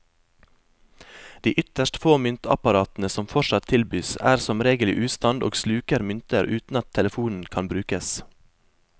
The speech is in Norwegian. De ytterst få myntapparatene som fortsatt tilbys, er som regel i ustand og sluker mynter uten at telefonen kan brukes.